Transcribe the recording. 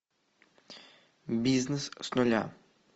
бизнес с нуля